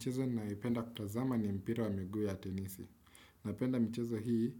Mchezo ninayopenda kutazama ni mpira wa miguu ya tenisi. Napenda mchezo hii